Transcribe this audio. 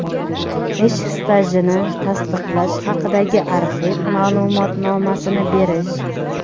ish stajini tasdiqlash haqidagi arxiv ma’lumotnomasini berish;.